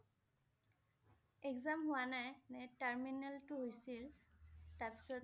exam হোৱা নাই । এনে terminal টো হৈছিল । তাৰ পিছত